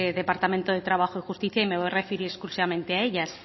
departamento de trabajo y justicia y me voy a referir exclusivamente a ellas